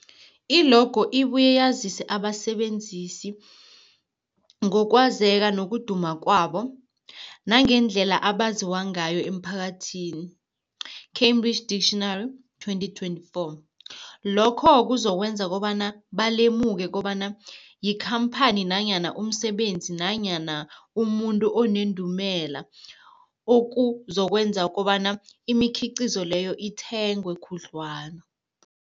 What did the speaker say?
I-logo ibuye yazise abasebenzisi ngokwazeka nokuduma kwabo nangendlela abaziwa ngayo emphakathini, Cambridge Dictionary 2024. Lokho kuzokwenza kobana balemuke kobana yikhamphani nanyana umsebenzi nanyana umuntu onendumela, okuzokwenza kobana imikhiqhizo leyo ithengwe khudlwana.